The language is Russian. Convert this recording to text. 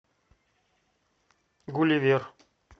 гулливер